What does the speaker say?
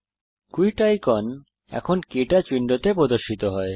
quit icon এখন কে touch উইন্ডোতে প্রদর্শিত হয়